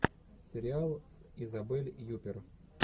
сериал с изабель юппер